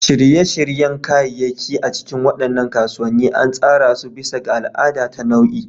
Shirye-shiryen kayayyaki a cikin waɗannan kasuwanni an tsara su bisa ga al'ada ta nau'i.